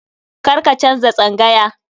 Karka canza tsangaya.